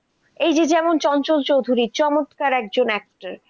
এই যে যেমন চঞ্চল চৌধুরী চমৎকার একজন actress, ওনার কথা কিছু বলার নাই, উনার একটা